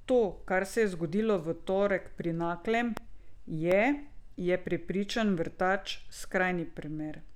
To, kar se je zgodilo v torek pri Naklem, je, je prepričan Vrtač, skrajni primer.